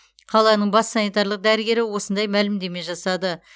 қаланың бас санитарлық дәрігері осындай мәлімдеме жасады